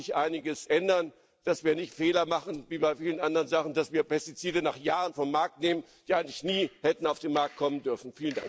Auch da muss sich einiges ändern, damit wir nicht Fehler machen wie bei vielen anderen Sachen, dass wir Pestizide nach Jahren vom Markt nehmen, die eigentlich nie hätten auf den Markt kommen dürfen.